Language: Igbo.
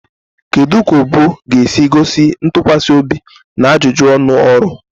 Kedu ka ubu ga-esi gosi ntụkwasị obi na ajụjụ ọnụ ọrụ?